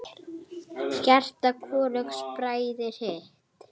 Hjarta hvorugs bræðir hitt.